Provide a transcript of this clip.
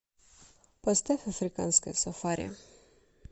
поставь африканское сафари